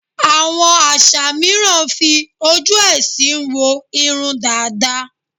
Àwọm àṣà mìíràn fi ojú ẹ̀sìn wo irun dàda.